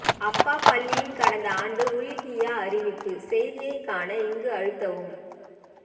அப்பா பள்ளியின் கடந்தாண்டு உள்ஹிய்யா அறிவிப்பு செய்தியை காண இங்கு அழுத்தவும்